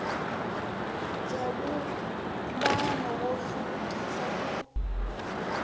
bya vumbano wa nhluvukiso ku